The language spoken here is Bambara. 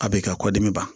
A b'i ka kɔdimi ban